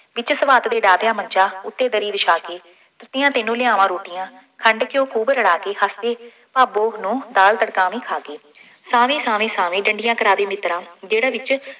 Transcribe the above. ਵਿੱਚ ਸਵਾਤ ਦੇ ਡਾਹ ਦਿਆਂ ਮੰਜ਼ਾ, ਉੱਤੇ ਦਰੀ ਵਿਛਾ ਕੇ, ਸਿੱਧੀਆਂ ਤੈਨੂੰ ਲਿਆਵਾਂ ਰੋਟੀਆਂ, ਖੰਡ ਘਿਉ ਖੂਬ ਰਲਾ ਕੇ, ਹੱਸਦੀ ਭਾਬੋ ਨੂੰ ਦਾਲ ਤੜਕਾਵੀਂ ਖਾ ਕੇ, ਸਾਵੇਂ ਸਾਵੇਂ ਸਾਾਵੇਂ ਡੰਡੀਆਂ ਕਰਾ ਦੇ ਮਿੱਤਰਾ ਜਿਹੜਾ ਵਿੱਚ